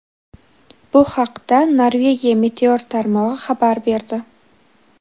Bu haqda Norvegiya meteor tarmog‘i xabar berdi.